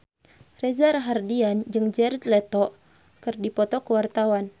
Reza Rahardian jeung Jared Leto keur dipoto ku wartawan